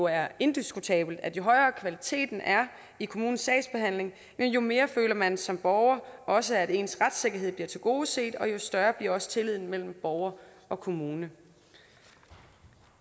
er jo indiskutabelt at jo højere kvaliteten i kommunens sagsbehandling er jo mere føler man som borger også at ens retssikkerhed bliver tilgodeset og jo større bliver også tilliden mellem borgere og kommune